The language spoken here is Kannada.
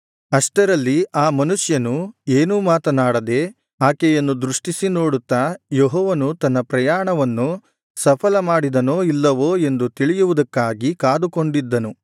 ಅಷ್ಟರಲ್ಲಿ ಆ ಮನುಷ್ಯನು ಏನೂ ಮಾತನಾಡದೆ ಆಕೆಯನ್ನು ದೃಷ್ಟಿಸಿ ನೋಡುತ್ತಾ ಯೆಹೋವನು ತನ್ನ ಪ್ರಯಾಣವನ್ನು ಸಫಲ ಮಾಡಿದನೋ ಇಲ್ಲವೋ ಎಂದು ತಿಳಿಯುವುದಕ್ಕಾಗಿ ಕಾದುಕೊಂಡಿದ್ದನು